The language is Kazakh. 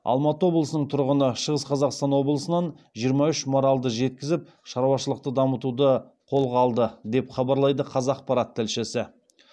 алматы облысының тұрғыны шығыс қазақстан облысынан жиырма үш маралды жеткізіп шаруашылықты дамытуды қолға алды деп хабарлайды қазақпарат тілшісі